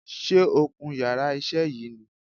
Sé o kun yàrá isé yìí ni